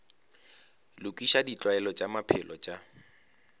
lokiša ditlwaelo tša maphelo tša